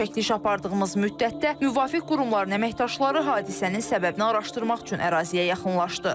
Çəkiliş apardığımız müddətdə müvafiq qurumların əməkdaşları hadisənin səbəbini araşdırmaq üçün əraziyə yaxınlaşdı.